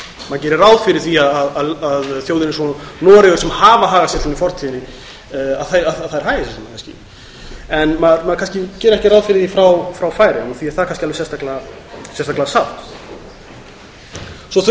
gerir ráð fyrir því að þjóðir eins og noregur sem hafa hagað sér svona í fortíðinni hagi sér svona kannski maður gerir ekki ráð fyrir því frá færeyjum og því er það alveg sérstaklega sárt svo þurfum